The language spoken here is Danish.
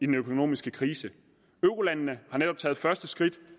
den økonomiske krise eurolandene har netop taget det første skridt